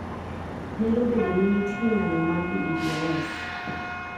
Nyalo bedo ni nitie ng'anyo mar DDoS